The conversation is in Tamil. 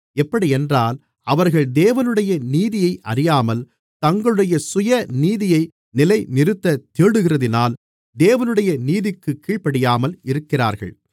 எப்படியென்றால் அவர்கள் தேவனுடைய நீதியை அறியாமல் தங்களுடைய சுயநீதியை நிலைநிறுத்தத் தேடுகிறதினால் தேவனுடைய நீதிக்குக் கீழ்ப்படியாமல் இருக்கிறார்கள்